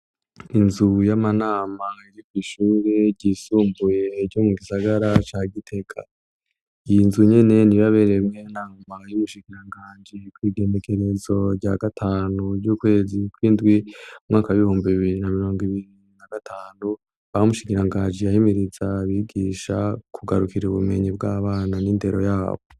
Inzu y'amanama yo kw'ishure ryisumbuye ryo mu gisagara ca Gitega. Iyi nzu nyene niyo yabereyemwo inama y'ubushikiranganji kw' igenekerezo rya gatanu z'ukwezi kw'indwi, umwaka w'ibihumbi bibiri na mirongo ibiri na gatanu, aho umushikiranganji yahimiriza abigisha kugarukira ubumenyi bw'abana n'inndero yabo.